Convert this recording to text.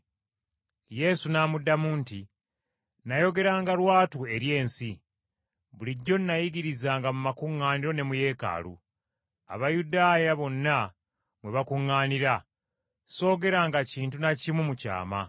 Yesu n’amuddamu nti, “Nayogeranga lwatu eri ensi, bulijjo n’ayigirizanga mu makuŋŋaaniro ne mu Yeekaalu, Abayudaaya bonna mwe bakuŋŋaanira, soogeranga kintu na kimu mu kyama.